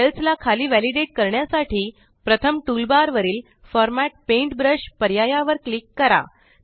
cells ला खाली validate करण्यासाठी प्रथम टूल बार वरील फॉर्मॅट पेंटब्रश पर्याया वर क्लिक करा